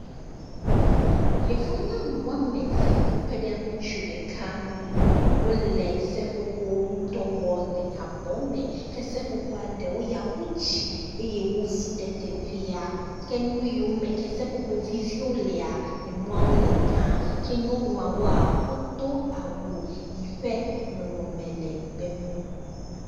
Yevu nyɔnu wɔme eve kɔ kpe ɖe ŋutsu ɖeka ŋu wo le seƒoƒo ŋu dɔ wɔm le abɔ me ke seƒoƒoa ɖewo ya ƒu tsi eye wovu ɖe teƒea. Ke nu yiwo me ke seƒoƒo vivi wo lea enuawo le gã ke nyɔnuawoa wodo awu yi ƒe nɔnɔme le gbemu.